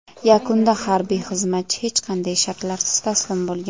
Yakunda harbiy xizmatchi hech qanday shartlarsiz taslim bo‘lgan.